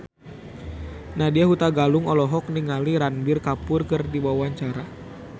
Nadya Hutagalung olohok ningali Ranbir Kapoor keur diwawancara